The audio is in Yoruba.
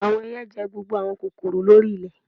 Awọn ẹiyẹ jẹ gbogbo awọn kokoro lori ilẹ